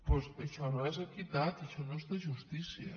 doncs això no és equitat això no és de justícia